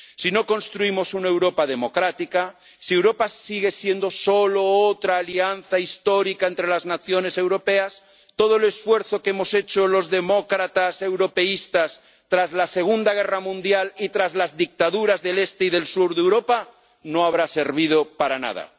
Si no construimos una Europa democrática, si Europa sigue siendo solo otra alianza histórica entre las naciones europeas, todo el esfuerzo que hemos hecho los demócratas europeístas tras la Segunda Guerra Mundial y tras las dictaduras del Este y del Sur de Europa no habrá servido para nada.